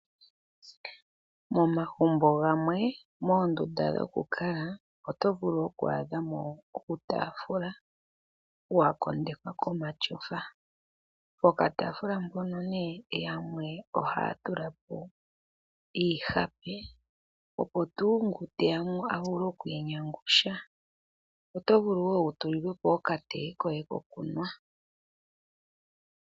Momagumbo gamwe, moondunda dhoku kala oto vulu oku adhamo uutaafula wakondekwa komatyofa. Poka taafula mpono nee, yamwe ohaya tulapo iihape, opo tuu ngu teya mo avule okwiinyangusha. Oto vulu wo utulilwe po okatee koye kokunwa.